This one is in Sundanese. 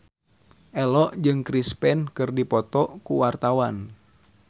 Ello jeung Chris Pane keur dipoto ku wartawan